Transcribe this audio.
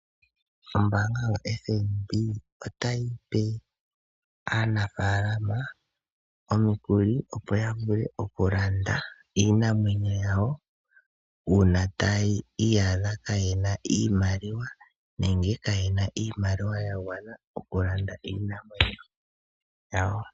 Ombaanga yoFNB otayi pe aanafalama omikuli, opo ya vule okulanda iinamwenyo yawo uuna taya iyadha kaye na iimaliwa nenge kaye na iimaliwa ya gwana okulanda iinamwenyo yawo.